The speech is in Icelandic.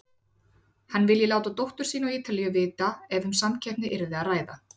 Hann vilji láta dóttur sína á Ítalíu vita ef um samkeppni yrði að ræða.